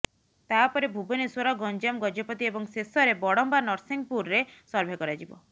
ତାପରେ ଭୁବନେଶ୍ବର ଗଞ୍ଜାମ ଗଜପତି ଏବଂ ଶେଷରେ ବଡମ୍ବା ନରସିଂହପୁରରେ ସର୍ଭେ କରାଯିବ